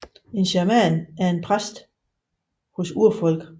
En shaman er en præst hos urfolk